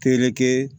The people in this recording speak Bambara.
Tereke